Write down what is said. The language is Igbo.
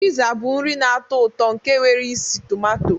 Piza bụ nri na-atọ ụtọ nke nwere isi tumato.